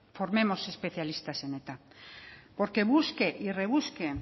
formemos especialistas en eta porque busque y rebusque